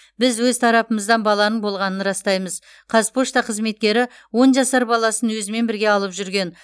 біз өз тарапымыздан баланың болғанын растаймыз қазпошта қызметкері он жасар баласын өзімен бірге алып жүрген